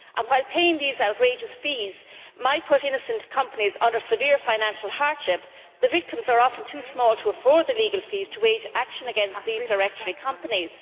While paying these outrageous fees may put innocent companies under severe financial hardship, the victims are often too small to afford the legal costs of bringing actions against these directory companies.